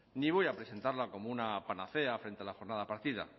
ni voy a presentarla como una panacea frente a la jornada partida